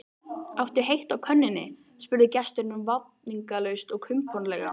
Áttu heitt á könnunni? spurði gesturinn vafningalaust og kumpánlega.